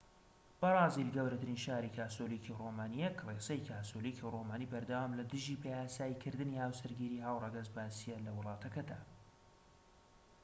بەرازیل گەورەترین شاری کاسۆلیکی رۆمانیە کڵێسەی کاسۆلیکی رۆمانی بەردەوام لە دژی بەیاسایی کردنی هاوسەرگیری هاوڕەگەزبازیە لە وڵاتەکەدا